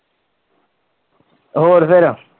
ਹੋਰ ਫਿਰ?